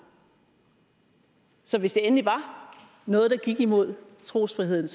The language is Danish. så hvis det endelig var noget der gik imod trosfriheden